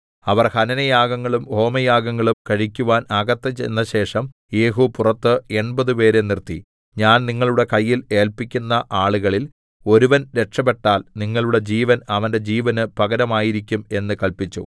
അവർ ഹനനയാഗങ്ങളും ഹോമയാഗങ്ങളും കഴിക്കുവാൻ അകത്ത് ചെന്നശേഷം യേഹൂ പുറത്ത് എൺപതുപേരെ നിർത്തി ഞാൻ നിങ്ങളുടെ കയ്യിൽ ഏല്പിക്കുന്ന ആളുകളിൽ ഒരുവൻ രക്ഷപെട്ടാൽ നിങ്ങളുടെ ജീവൻ അവന്റെ ജീവന് പകരമായിരിക്കും എന്ന് കല്പിച്ചു